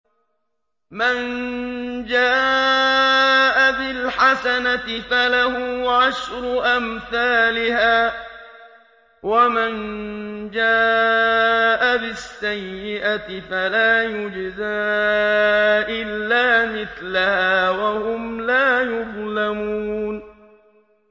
مَن جَاءَ بِالْحَسَنَةِ فَلَهُ عَشْرُ أَمْثَالِهَا ۖ وَمَن جَاءَ بِالسَّيِّئَةِ فَلَا يُجْزَىٰ إِلَّا مِثْلَهَا وَهُمْ لَا يُظْلَمُونَ